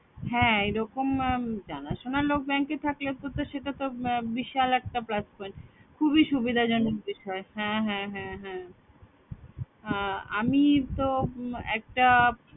হ্যাঁ এরকম জানাশোনা লোক bank এ থাকলে তো সেটা তো বিশাল একটা plus point খুবই সুবিধাজনক বিষয়। হ্যাঁ হ্যাঁ হ্যাঁ আমি তো একটা